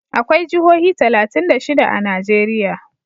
akwai Jihohi talatin da shida a Najeriya